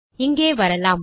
இங்கே வரலாம்